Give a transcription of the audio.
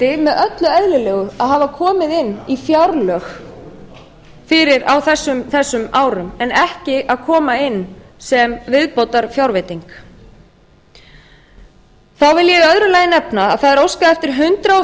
með öllu eðlilegu að hafa komið inn í fjárlög á þessum árum en ekki að koma inn sem viðbótarfjárveiting þá vil ég í öðru lagi nefna að það er óskað eftir hundrað